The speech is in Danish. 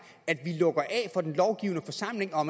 at vi lukker af for den lovgivende forsamling og